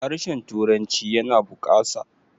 harshen turanci yana bukasa